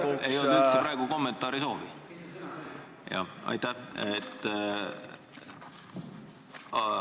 Mul ei olnud praegu üldse kommentaari soovi, aga aitäh!